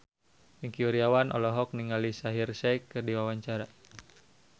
Wingky Wiryawan olohok ningali Shaheer Sheikh keur diwawancara